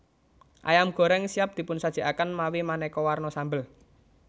Ayam goreng siap dipunsajikaken mawi maneka warna sambel